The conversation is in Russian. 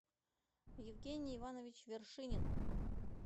евгений иванович вершинин